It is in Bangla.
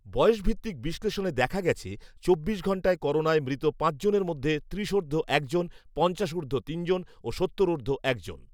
বয়সভিত্তিক বিশ্লেষণে দেখা গেছে, চব্বিশ ঘণ্টায় করোনায় মৃত পাঁচজনের মধ্যে ত্রিশোর্ধ্ব একজন, পঞ্চাশোর্ধ্ব তিনজন ও সত্তোরোর্ধ্ব একজন